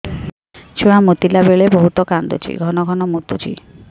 ଛୁଆ ମୁତିଲା ବେଳେ ବହୁତ କାନ୍ଦୁଛି ଘନ ଘନ ମୁତୁଛି